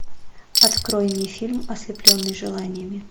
открой мне фильм ослепленный желаниями